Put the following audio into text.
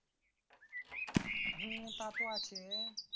হ্যাঁ তা তো আছে।